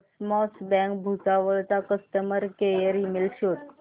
cosmos bank Bhusawal चा customer care email शोध